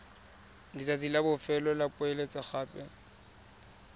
letsatsi la bofelo la poeletsogape